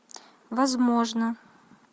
возможно